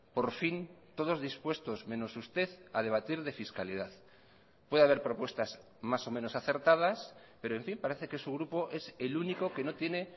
por fin todos dispuestos menos usted a debatir de fiscalidad puede haber propuestas más o menos acertadas pero en fin parece que su grupo es el único que no tiene